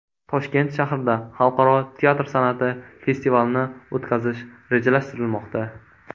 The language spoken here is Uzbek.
Toshkent shahrida Xalqaro teatr san’ati festivalini o‘tkazish rejalashtirilmoqda.